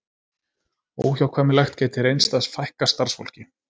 Óhjákvæmilegt gæti reynst að fækka starfsfólki